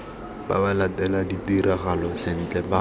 ba latele ditiragalo sentle ba